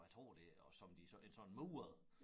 Hvor jeg tror det er og som de så ikke sådan murede